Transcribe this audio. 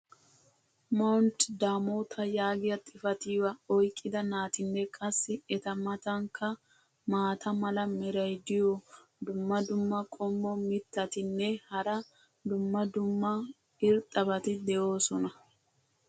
"Mount Damota" yaagiya xifattiya oyqqida naatinne qassi eta matankka maata mala meray diyo dumma dumma qommo mitattinne hara dumma dumma irxxabati de'oosona.